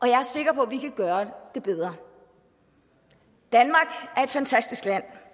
jeg er sikker på at vi kan gøre det bedre danmark er et fantastisk land